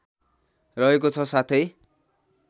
रहेको छ साथै